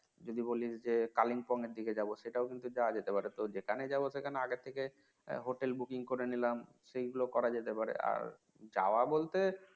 যদি বলিস যে কালিম্পং এর দিকে যাব সেটাও কিন্তু যাওয়া যেতে পারে তো যেখানে যাব সেখানে আগে থেকে Hotel, booking করে নিলাম সেগুলো করা যেতে পারে আর যাওয়া বলতে